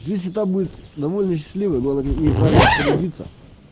жизнь та будет довольно счастливой но надо ей правильно распорядиться